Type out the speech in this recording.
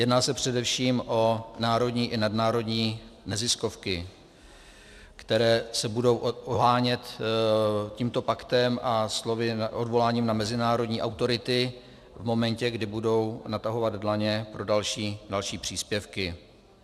Jedná se především o národní i nadnárodní neziskovky, které se budou ohánět tímto paktem a odvoláním na mezinárodní autority v momentě, kdy budou natahovat dlaně pro další příspěvky.